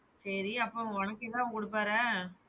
சேரி அப்ப உனக்கு ஏதாது குடுப்பாரா?